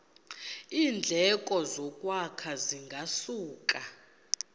iindleko zokwakha zingasuka